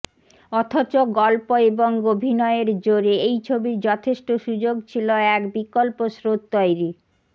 অথচ গল্প এবং অভিনয়ের জোরে এই ছবির যথেষ্ট সুযোগ ছিল এক বিকল্প স্রোত তৈরি